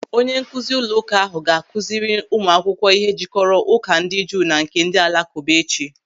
Onye nkụzi ụlọụka ahụ ga-akụziri ụmụakwụkwọ ihe jikọrọ Ụka ndị Juu na nke ndị Alakụba echi.